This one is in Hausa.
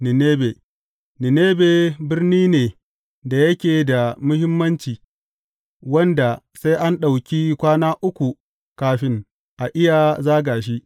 Ninebe birni ne da yake da muhimmanci, wanda sai an ɗauki kwana uku kafin a iya zaga shi.